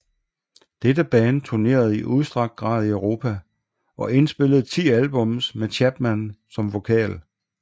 Dette band turnerede i udstrakt grad i Europa og indspillede ti albums med Chapman som vokal